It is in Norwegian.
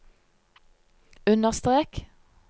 understrek